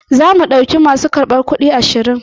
Zamu ɗauki masu karbar kuɗi ashirin.